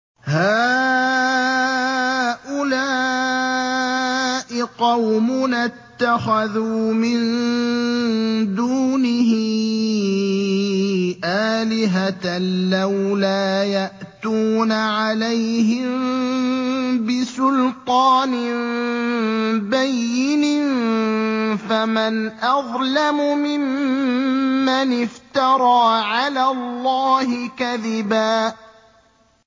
هَٰؤُلَاءِ قَوْمُنَا اتَّخَذُوا مِن دُونِهِ آلِهَةً ۖ لَّوْلَا يَأْتُونَ عَلَيْهِم بِسُلْطَانٍ بَيِّنٍ ۖ فَمَنْ أَظْلَمُ مِمَّنِ افْتَرَىٰ عَلَى اللَّهِ كَذِبًا